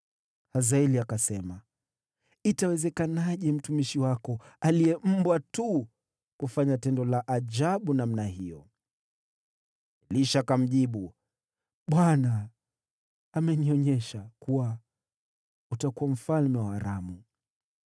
Hazaeli akasema, “Itawezekanaje mtumishi wako, aliye mbwa tu, kufanya tendo la ajabu namna hiyo?” Elisha akamjibu, “ Bwana amenionyesha kuwa utakuwa mfalme wa Aramu.”